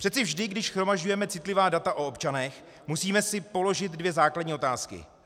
Přece vždy, když shromažďujeme citlivá data o občanech, musíme si položit dvě základní otázky.